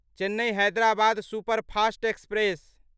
Chennai Hyderabad superfast express